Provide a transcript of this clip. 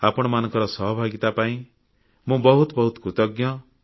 ଆପଣମାନଙ୍କର ସହଭାଗିତା ପାଇଁ ମୁଁ ବହୁତ ବହୁତ କୃତଜ୍ଞ